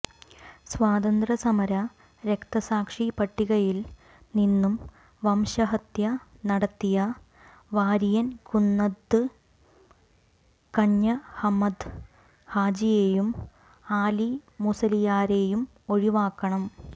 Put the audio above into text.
സ്വാതന്ത്യസമര രക്തസാക്ഷി പട്ടികയിൽ നിന്നും വംശഹത്യ നടത്തിയ വാരിയൻ കുന്നത്ത് കഞ്ഞഹമ്മദ് ഹാജിയേയും ആലിമുസലിയാരേയും ഒഴിവാക്കണം